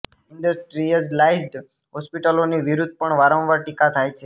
industrialised હોસ્પિટલોની વિરુધ્ધ પણ વારંવાર ટીકા થાય છે